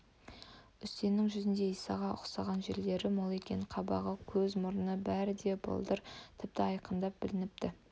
үсеннің жүзінде исаға ұқсаған жерлері мол екен қабағы көз мұрны бәрі де биылдар тіпті айқындап білініпті